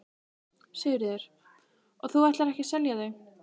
Sigríður: Og þú ætlar ekki að selja þau?